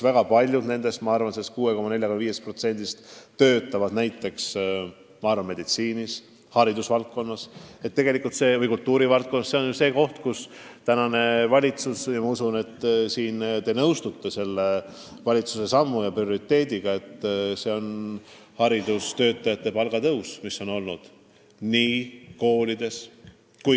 Väga paljud sellest 6,45%-st töötavad kas meditsiinis, haridusvaldkonnas või kultuurivaldkonnas ja usutavasti te olete nõus, et üks valitsuse prioriteete on olnud haridustöötajate palga tõus koolides.